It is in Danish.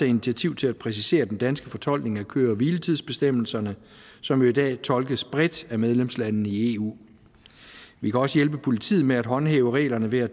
initiativ til at præcisere den danske fortolkning af køre hvile tids bestemmelserne som jo i dag tolkes bredt af medlemslandene i eu vi kan også hjælpe politiet med at håndhæve reglerne ved at